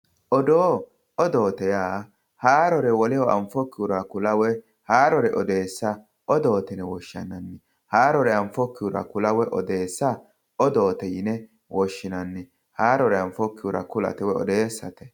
odoo odoote yaa haarore woleho anfokkihura kula woyi haarore odeessa odoote yine woshshinanni haarore anfokkihura kula woyi odeessa odoote yine woshshinanni haarore anfokkihura kula woyi odeessate.